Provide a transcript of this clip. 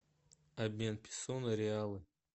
обмен песо на реалы